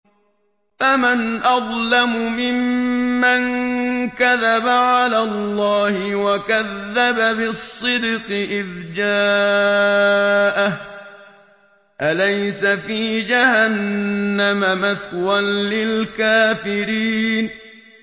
۞ فَمَنْ أَظْلَمُ مِمَّن كَذَبَ عَلَى اللَّهِ وَكَذَّبَ بِالصِّدْقِ إِذْ جَاءَهُ ۚ أَلَيْسَ فِي جَهَنَّمَ مَثْوًى لِّلْكَافِرِينَ